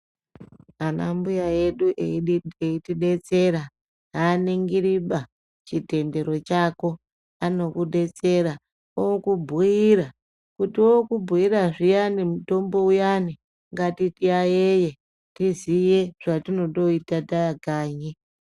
Ana mbuya edu eitidetsera, aaningiri ba, chitendero chako, anokudetsera, okubhiira, kuti ookubhiira zviyani mutombo uyani, ngatiyayeye, tiziye zvetinondoita taakanyi.